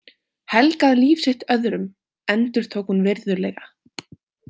Helgað líf sitt öðrum, endurtók hún virðulega.